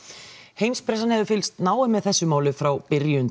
heimspressan hefur fylgst náið með þessu máli frá byrjun